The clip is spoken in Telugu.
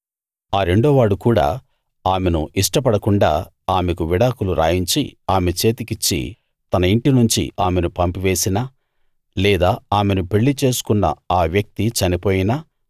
ఆ రెండోవాడు కూడా ఆమెను ఇష్టపడకుండా ఆమెకు విడాకులు రాయించి ఆమె చేతికిచ్చి తన ఇంటి నుంచి ఆమెను పంపి వేసినా లేదా ఆమెను పెళ్ళిచేసుకున్న ఆ వ్యక్తి చనిపోయినా